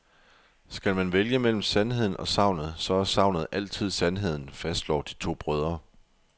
Skal man vælge mellem sandheden og sagnet, så er sagnet altid sandheden, fastslår de to brødre.